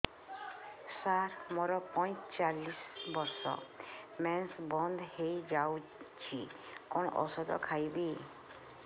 ସାର ମୋର ପଞ୍ଚଚାଳିଶି ବର୍ଷ ମେନ୍ସେସ ବନ୍ଦ ହେଇଯାଇଛି କଣ ଓଷଦ ଖାଇବି